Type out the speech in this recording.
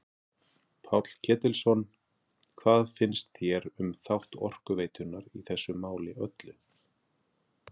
Páll Ketilsson: Hvað finnst þér um þátt Orkuveitunnar í þessu máli öllu?